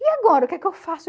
E agora, o que é que eu faço?